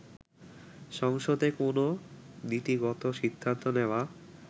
সংসদে কোন নীতিগত সিদ্ধান্ত নেওয়া